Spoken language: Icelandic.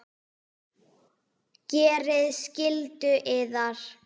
Gerið skyldu yðar!